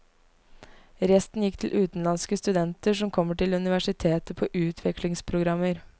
Resten gikk til utenlandske studenter som kommer til universitetet på utvekslingsprogrammer.